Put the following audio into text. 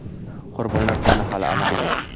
Qurbonlar soni hali aniq emas.